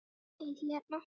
Þið hérna.